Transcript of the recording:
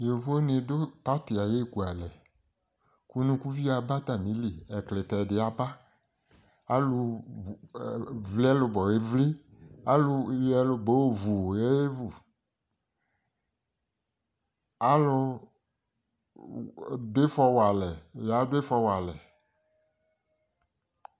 yovo ni do pati ayi eku alɛ ko unukuvio aba atami li ɛklitɛ di aba alo vli ɛlobɔ evli alo yɔ ɛlobɔ yɔ vu ye vu alo do ifɔ wa alɛ ya do ifɔ wa alɛ